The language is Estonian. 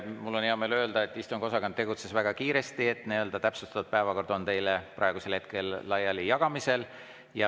Mul on hea meel öelda, et istungiosakond tegutses väga kiiresti ja täpsustatud päevakord on praegusel hetkel teile laiali jagamisel.